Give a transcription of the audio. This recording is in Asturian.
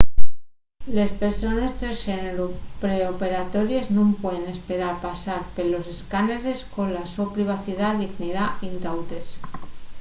les persones tresxéneru pre-operatories nun pueden esperar pasar pelos escáneres cola so privacidá y dignidá intautes